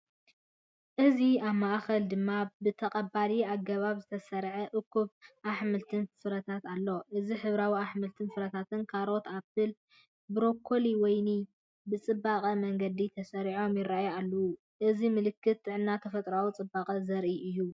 እዚ ኣብ ማእከል ድማ ብተቐባሊ ኣገባብ ዝተሰርዐ እኩብ ኣሕምልትን ፍረታትን ኣሎ። እዚ ሕብራዊ ኣሕምልትን ፍረታትን፡ ካሮት፡ ኣፕል፡ ብሮኮሊ፡ ወይኒ ብፅበቅ መንገዲ ተሰሪዖም ይራኣዩ ኣለው። እዚ ምልክት ጥዕናን ተፈጥሮኣዊ ጽባቐን ዘርኢ እዩ።